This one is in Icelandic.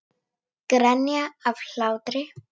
Grenja af hlátri.